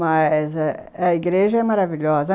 Mas a a igreja é maravilhosa.